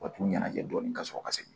U ka t'u ɲɛnajɛ dɔɔni ka sɔrɔ ka segin